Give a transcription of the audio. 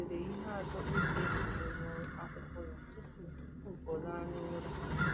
Ọ dere ihe atọ o ji ekele n’akwụkwọ ya tupu tupu ọ laa n’ụra.